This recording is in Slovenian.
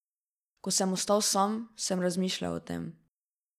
Ko sem ostal sam, sem razmišljal o tem.